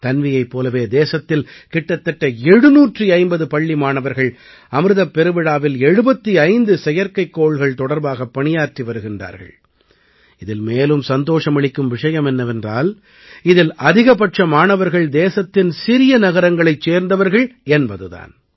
தன்வியைப் போலவே தேசத்தில் கிட்டத்தட்ட 750 பள்ளி மாணவர்கள் அமிர்தப் பெருவிழாவில் 75 செயற்கைக்கோள்கள் தொடர்பாகப் பணியாற்றி வருகிறார்கள் இதில் மேலும் சந்தோஷமளிக்கும் விஷயம் என்னவென்றால் இதில் அதிகப்பட்ச மாணவர்கள் தேசத்தின் சிறிய நகரங்களைச் சேர்ந்தவர்கள் என்பது தான்